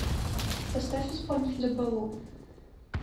поставь исполнителя балу